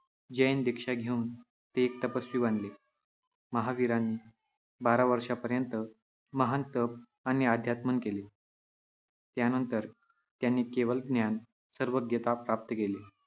जैन दिक्षा घेऊन ते एक तपस्वी बनले. महावीरांनी बारा वर्षांपर्यंत महान तप आणि आत्मध्यान केले. त्यानंतर त्यांनी केवलज्ञान सर्वज्ञता प्राप्त केले.